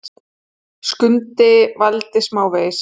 Skundi vældi smávegis.